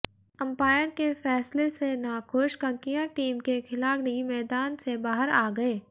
umpire के फैसले से नाखुश ककीयां टीम के खिलाड़ी मैदान से बाहर आ गए